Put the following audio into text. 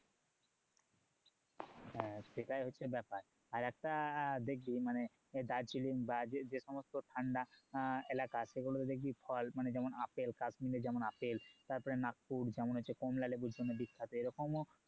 হ্যাঁ সেটাই হচ্ছে ব্যাপার আর একটা দেখবি মানে দার্জিলিং বা যে সমস্ত ঠান্ডা এলাকা সেগুলো তে দেখবি ফল মানে যেমন আপেল কাশ্মীরের যেমন আপেল তারপর নাগপুর যেমন হচ্ছে কমলালেবুর জন্য বিখ্যাত এরকমও